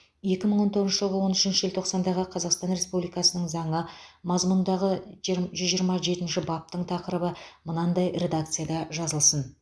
екі мың он тоғызыншы жылғы он үшінші желтоқсандағы қазақстан республикасының заңы мазмұнындағы жер жүз жиырма жетінші баптың тақырыбы мынадай редакцияда жазылсын